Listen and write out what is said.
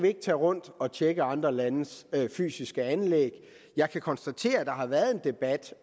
ikke tage rundt og tjekke andre landes fysiske anlæg jeg kan konstatere at der har været en debat